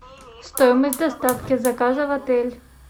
стоимость доставки заказа в отель